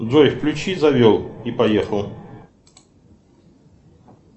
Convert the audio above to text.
джой включи завел и поехал